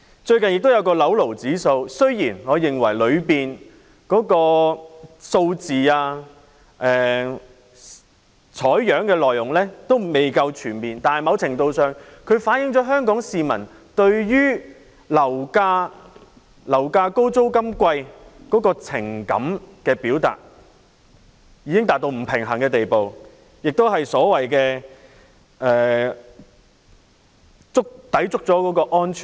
最近亦有一項"樓奴指數"，雖然我認為當中的數字、採樣的內容未夠全面，但某程度上反映了香港市民對於樓價高、租金貴的情緒，已經達到不平衡的地步，亦所謂抵觸了安全線。